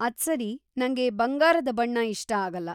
ಅದ್ಸರಿ; ನಂಗೆ ಬಂಗಾರದ ಬಣ್ಣ ಇಷ್ಟ ಆಗಲ್ಲ.